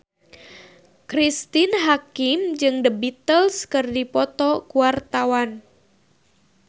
Cristine Hakim jeung The Beatles keur dipoto ku wartawan